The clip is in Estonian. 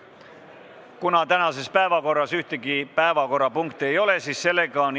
Kuna tänases päevakorras ühtegi punkti ei ole, siis on istung lõppenud.